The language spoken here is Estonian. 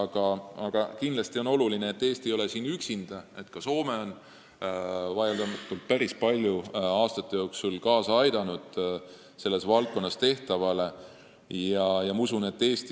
Aga oluline on see, et Eesti ei ole siin üksinda – ka Soome on vaieldamatult aastate jooksul selles valdkonnas tehtavale päris palju kaasa aidanud.